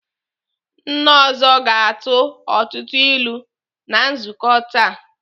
Nna ọzọ ga-atụ ọtụtụ ilu na nzukọ taa.